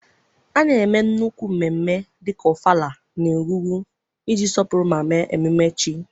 A na-eme nnukwu mmemme dịka Ọfala na Egungun iji sọpụrụ ma mee ememe chi.